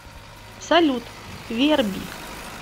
салют верби